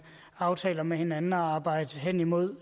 aftaler med hinanden at arbejde hen imod